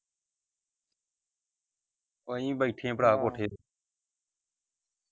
ਆਹੀ ਬੈਠੇ ਪਰਾ ਕੋਠੇ .